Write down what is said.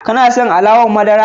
Ka son alawar madara?